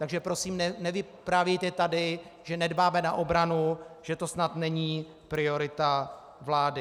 Takže prosím nevyprávějte tady, že nedbáme na obranu, že to snad není priorita vlády.